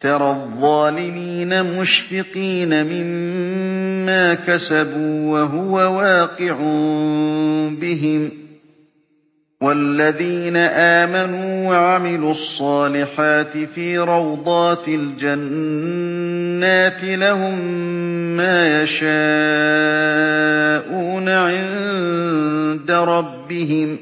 تَرَى الظَّالِمِينَ مُشْفِقِينَ مِمَّا كَسَبُوا وَهُوَ وَاقِعٌ بِهِمْ ۗ وَالَّذِينَ آمَنُوا وَعَمِلُوا الصَّالِحَاتِ فِي رَوْضَاتِ الْجَنَّاتِ ۖ لَهُم مَّا يَشَاءُونَ عِندَ رَبِّهِمْ ۚ